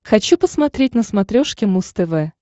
хочу посмотреть на смотрешке муз тв